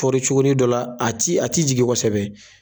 cogonin dɔ la a ti a ti jigin kosɛbɛ.